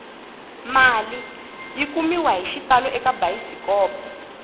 mali yi kumiwahi xitalo eka bayisikopo